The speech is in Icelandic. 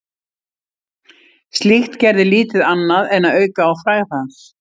Slíkt gerði lítið annað en að auka á frægð hans.